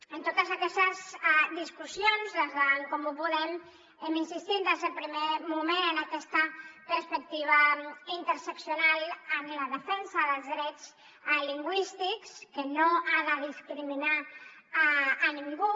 en totes aquestes discussions des d’en comú podem hem insistit des del primer moment en aquesta perspectiva interseccional en la defensa dels drets lingüístics que no ha de discriminar a ningú